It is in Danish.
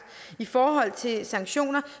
i forhold til sanktioner